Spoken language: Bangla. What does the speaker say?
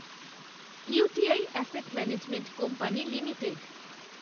UTI asset management company limited